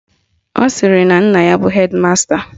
Ọ sịrị na nna ya bụ hedi masta